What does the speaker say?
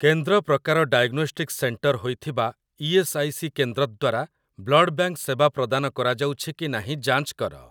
କେନ୍ଦ୍ର ପ୍ରକାର diagnostics centre ହୋଇଥିବା ଇ.ଏସ୍. ଆଇ. ସି. କେନ୍ଦ୍ର ଦ୍ୱାରା ବ୍ଲଡ଼ ବ୍ୟାଙ୍କ୍ ସେବା ପ୍ରଦାନ କରାଯାଉଛି କି ନାହିଁ ଯାଞ୍ଚ କର ।